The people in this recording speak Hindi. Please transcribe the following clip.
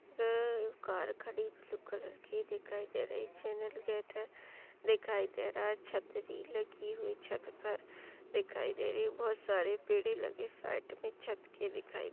--है कार खड़ी ब्लू कलर की दिखाई दे रही है चेनल गेट है दिखाई दे रहा छत्री लगी हुई छत पर दिखाई दे रही बहुत सारे पेड़े लगे साइड के छत पे दिखाई--